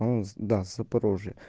да с запорожья